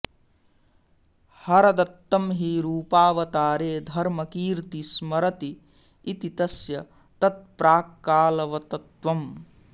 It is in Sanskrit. हरदत्तं हि रूपावतारे धर्मकीर्ति स्मरति इति तस्य तत्प्राक्कालवतत्वम्